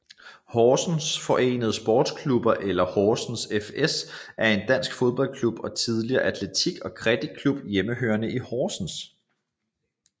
Horsens Forenede Sportsklubber eller Horsens fS er en dansk fodboldklub og tidligere atletik og criketklub hjemmehørende i Horsens